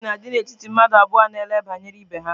Enyi na-adị n'etiti mmadụ abụọ na ele banyere ibe ha.